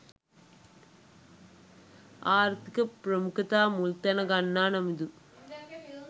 ආර්ථික ප්‍රමුඛතා මුල්තැන ගන්නා නමුදු